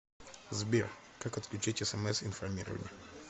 сбер как отключить смс информирование